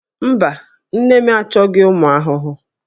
Mba, nne m achọghị ụmụ ahụhụ